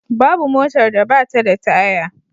Babu motar da ba ta da taya.